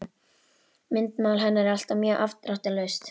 Myndmál hennar er alltaf mjög afdráttarlaust.